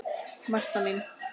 Marta mín.